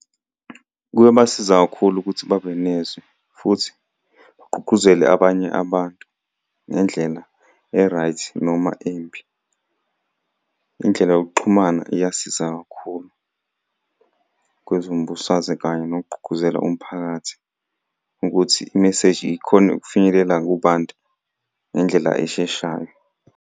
Kuyobasiza kakhulu ukuthi babe nezwi, futhi bagqugquzele abanye abantu ngendlela e-right noma embi. Indlela yokuxhumana iyasiza kakhulu kwezombusazwe kanye nokugqugquzela umphakathi ukuthi imeseji ikhone ukufinyelela kubantu ngendlela esheshayo.